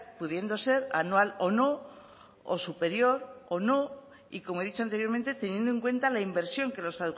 pudiendo ser anual o no o superior o no y como he dicho anteriormente teniendo en cuenta la inversión que los